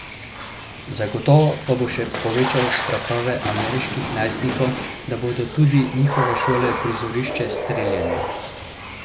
Zagotovo pa bo še povečal strahove ameriških najstnikov, da bodo tudi njihove šole prizorišče streljanja.